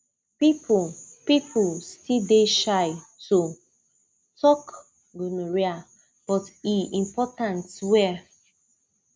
people people still dey shy to talk gonorrhea but e important well